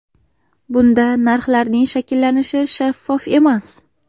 Bunda narxlarning shakllanishi shaffof emas.